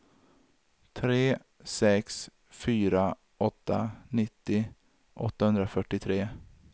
tre sex fyra åtta nittio åttahundrafyrtiotre